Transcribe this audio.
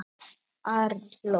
Ari hló.